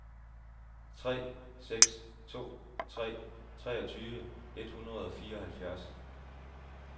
tre seks to tre treogtyve et hundrede og fireoghalvfjerds